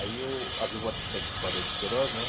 Aí, eu havia voltado para essa escola de Queiroz, né?